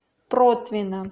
протвино